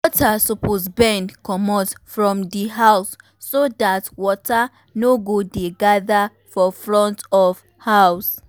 gutter suppose bend commot from di house so that water no go dey gather for front of house